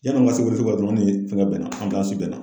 Yan'an ka se Welesebugu la dɔrɔnw ni fɛn bɛɛ na bɛ na.